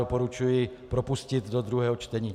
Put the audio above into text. Doporučuji propustit do druhého čtení.